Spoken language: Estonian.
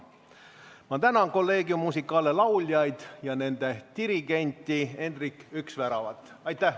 Ma tänan Collegium Musicale lauljaid ja nende dirigenti Endrik Üksväravat.